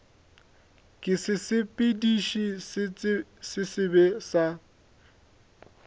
ke sesepediši se sebe sa